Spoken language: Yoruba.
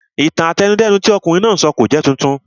Ìtàn àtẹnudẹ́nu tí ọ̀kunrin náà sọ kò jẹ́ titun